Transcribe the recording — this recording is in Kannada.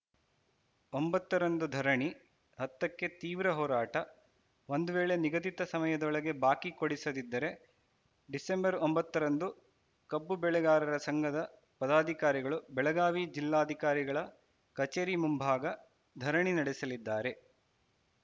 ಒಂಬತ್ತರಂದು ಧರಣಿ ಹತ್ತಕ್ಕೆ ತೀವ್ರ ಹೋರಾಟ ಒಂದು ವೇಳೆ ನಿಗದಿತ ಸಮಯದೊಳಗೆ ಬಾಕಿ ಕೊಡಿಸದಿದ್ದರೆ ಡಿಸೆಂಬರ್ ಒಂಬತ್ತರಂದು ಕಬ್ಬು ಬೆಳೆಗಾರರ ಸಂಘದ ಪದಾಧಿಕಾರಿಗಳು ಬೆಳಗಾವಿ ಜಿಲ್ಲಾಧಿಕಾರಿಗಳ ಕಚೇರಿ ಮುಂಭಾಗ ಧರಣಿ ನಡೆಸಲಿದ್ದಾರೆ